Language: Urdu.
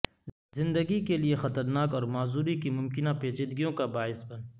زندگی کے لیے خطرناک اور معذوری کی ممکنہ پیچیدگیوں کا باعث بن